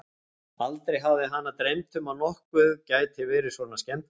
Aldrei hafði hana dreymt um að nokkuð gæti verið svona skemmtilegt.